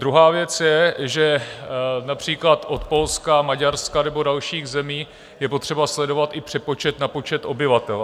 Druhá věc je, že například od Polska, Maďarska nebo dalších zemí je potřeba sledovat i přepočet na počet obyvatel.